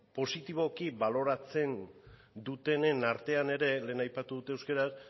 positiboki baloratzen dutenen artean ere lehen aipatu dut euskaraz